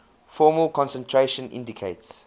formal concentration indicates